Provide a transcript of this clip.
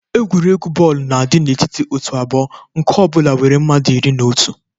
Egwuregwu bọọlụ na-adị n'etiti òtù abụọ, nke ọ bụla nwere mmadụ iri na otu.